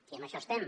i en això estem